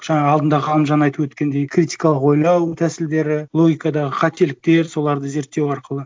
жаңа алдында ғалымжан айтып өткендей критикалық ойлау тәсілдері логикадағы қателіктер соларды зерттеу арқылы